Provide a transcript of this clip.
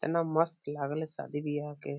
तना मस्त लागले शादी ब्याह के ।